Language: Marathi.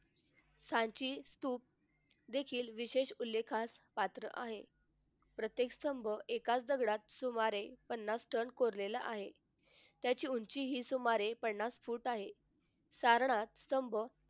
सांची स्तूप देखील विशेष उल्लेखास पात्र आहेत. प्रत्येक स्तंभ एकाच दगडात सुमारे पन्नास टन कोरलेला आहे. त्याची उंची ही सुमारे पन्नास फूट आहे. सारनाथ स्तंभ